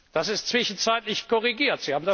auf. Das ist zwischenzeitlich korrigiert.